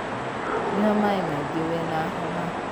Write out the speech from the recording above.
Nyua maĩmaingĩwĩna homa.